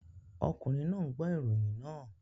Ọkùnrin náà ń gbọ́ ìròyìn náà